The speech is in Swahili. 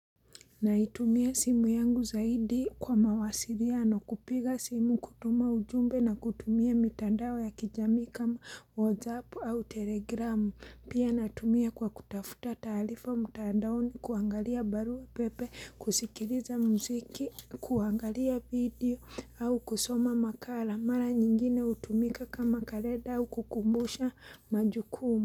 Naitumia simu yangu zaidi kwa mawasiliano. Kupiga simu kutuma ujumbe na kutumia mitandao ya kijamii kama WhatsApp au Telegram. Pia natumia kwa kutafuta taarifa mtandaoni, kuangalia barua pepe, kusikiliza muziki, kuangalia video au kusoma makara. Mara nyingine hutumika kama kalenda kukumbusha majukumu.